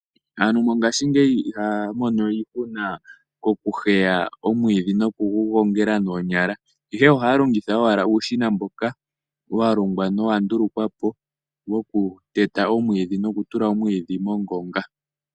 Aantu mongashingeyi ihaya mono iihuna kokuheya omwiidhi nokugugongela noonyala ihe ohaya longitha owala uushina mboka wa longwa nowandulukwa po wokuteta noku tula omwiidhi mongonga.